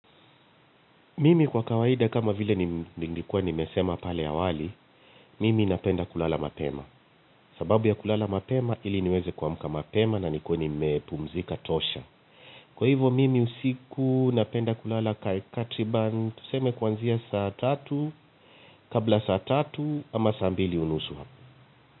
Mimi kwa kawaida kama vile nilikuwa nimesema pale awali, mimi napenda kulala mapema. Sababu ya kulala mapema ili niweze kuamka mapema na nikuwe nimepumzika tosha. Kwa hivyo mimi usiku napenda kulala takriban tuseme kuanzia saa tatu kabla saa tatu ama saa mbili unusu ivi.